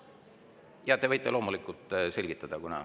Jaa, te võite loomulikult selgitada.